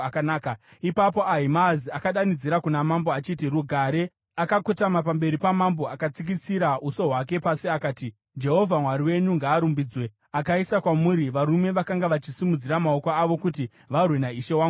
Ipapo Ahimaazi akadanidzira kuna mambo achiti, “Rugare!” Akakotama pamberi pamambo akatsikitsira uso hwake pasi akati, “Jehovha Mwari wenyu ngaarumbidzwe! Akaisa kwamuri varume vakanga vachisimudzira maoko avo kuti varwe naishe wangu mambo.”